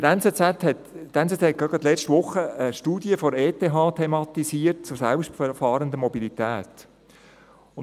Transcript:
Die «Neue Zürcher Zeitung (NZZ)» hat gerade letzte Woche eine Studie der Eidgenössischen Technischen Hochschule (ETH) zur selbstfahrenden Mobilität thematisiert.